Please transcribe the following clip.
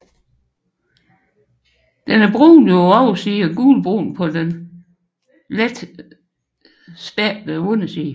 Den er brunlig på oversiden og gulbrun på den let spættede underside